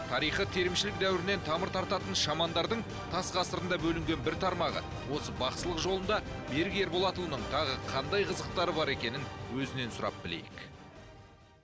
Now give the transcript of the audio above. тарихы терімшілік дәуірінен тамыр тартатын шамандардың тас ғасырында бөлінген бір тармағы осы бақсылық жолында берік ерболатұлының тағы қандай қызықтары бар екенін өзінен сұрап білейік